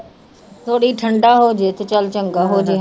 ਥੋੜ੍ਹੀ ਠੰਢਾ ਹੋ ਜਾਏ ਤੇ ਚੱਲ ਚੰਗਾ ਹੋ ਜਾਏ।